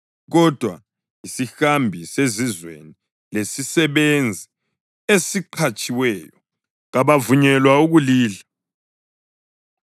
kodwa isihambi sezizweni lesisebenzi esiqhatshiweyo kabavunyelwa ukulidla.